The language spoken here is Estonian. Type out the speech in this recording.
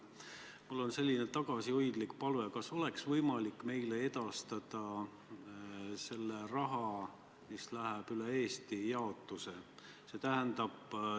Mul on selline tagasihoidlik palve: kas oleks võimalik edastada meile selle raha jaotus, mis läheb üle Eesti jagamisele?